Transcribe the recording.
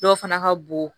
Dɔw fana ka bon